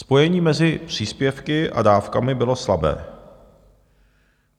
Spojení mezi příspěvky a dávkami bylo slabé.